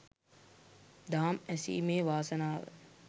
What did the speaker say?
දහම් ඇසීමේ වාසනාව